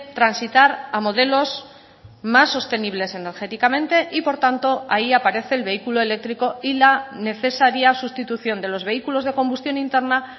transitar a modelos más sostenibles energéticamente y por tanto ahí aparece el vehículo eléctrico y la necesaria sustitución de los vehículos de combustión interna